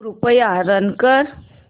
कृपया रन कर